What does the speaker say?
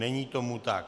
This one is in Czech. Není tomu tak.